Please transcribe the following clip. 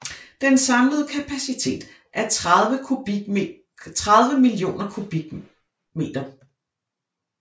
Den samlede kapacitet er 30 millioner m3